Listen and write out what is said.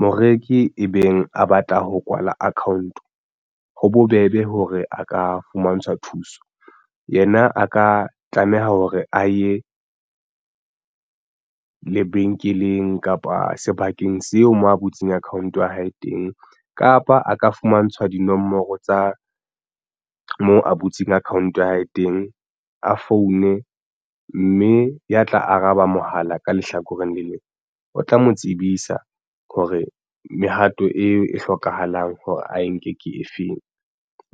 Moreki e beng a batla ho kwala account ho bobebe hore a ka fumantshwa thuso yena a ka tlameha hore a ye lebenkeleng kapa sebakeng seo moo a butseng account ya hae teng kapa a ka fumantshwa dinomoro tsa mo a butseng account ya hae teng a foune mme ya tla araba mohala ka lehlakoreng le leng o tla mo tsebisa hore mehato eo e hlokahalang hore ae nke ke efeng